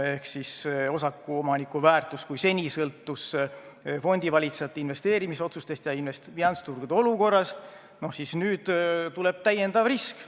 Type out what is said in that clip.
Kui osakute väärtus seni sõltus fondivalitsejate investeerimisotsustest ja finantsturgude olukorrast, siis nüüd tuleb täiendav risk.